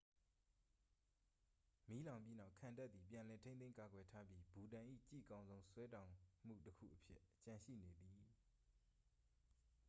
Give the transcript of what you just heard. မီးလောင်ပြီးနောက် ခံတပ်သည် ပြန်လည်ထိန်းသိမ်းကာကွယ်ထားပြီ ဘူတန်၏ ကြည့်ကောင်းဆုံး ဆွဲတောင်မှုတစ်ခုအဖြစ်ကျန်ရှိနေသည်